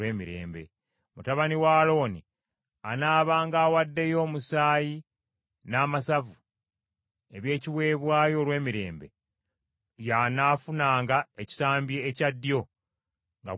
Mutabani wa Alooni anaabanga awaddeyo omusaayi n’amasavu eby’ekiweebwayo olw’emirembe, y’anaafunanga ekisambi ekya ddyo nga gwe mugabo gwe.